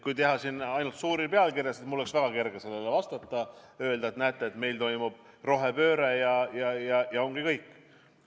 Kui tahaks teha ainult suuri pealkirju, siis mul oleks väga kerge sellele vastata ja öelda, et näete, meil toimub rohepööre, ja ongi kõik.